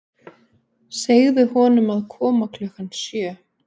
Segðu honum að koma klukkan sjö.